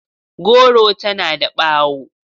Goro tana da bawo.